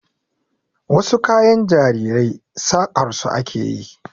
Wasu kayan jarirai saƙar su ake yi.